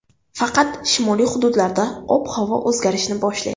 Faqat shimoliy hududlarda ob-havo o‘zgarishni boshlaydi.